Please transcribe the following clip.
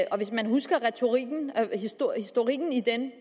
og hvis man husker historikken i den